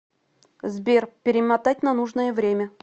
сбер перемотать на нужное время